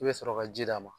I bɛ sɔrɔ ka ji d'a ma